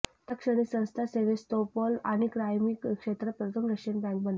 त्या क्षणी संस्था सेव्हस्तोपोल आणि क्राइमीया क्षेत्रात प्रथम रशियन बँक बनले